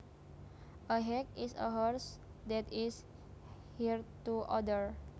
A hack is a horse that is hired to others